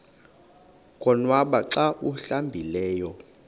konwaba xa awuhlambileyo